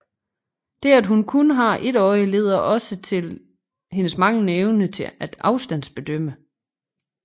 Det at hun kun har et øje leder også til hendes manglende evne til afstandsbedømmelse